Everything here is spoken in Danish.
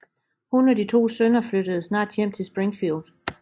Hun og de to sønner flyttede snart hjem til Springfield